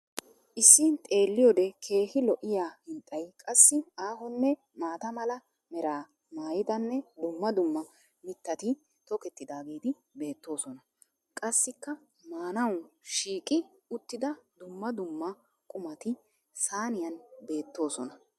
Issi xeelliyode keehii lo'iya hinxxay, qassi aahonne maata mala meraa maayidanne dumma dumma mittati tokettidaageeti beettoosona. Qassikka maanawu shiiqqi uttida dumma dumma qumati saaniyan beettoosona.